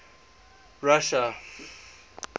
russia